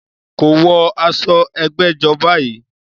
Kò wọ aṣọ ẹgbẹ́jọ́ báyìí